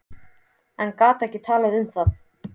En gat ekki talað um það.